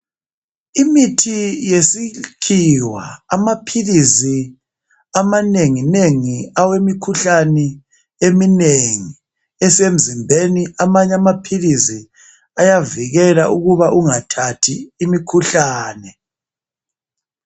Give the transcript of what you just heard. Imithi yesikhiwa amaphilisi amanengi nengi awemikhuhlane eminengi esemzimbeni amanye amaphilisi ayavikela ukuba ungathathi imikhuhlane.